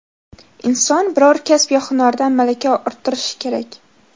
Inson biror kasb yo hunardan malaka orttirishi kerak.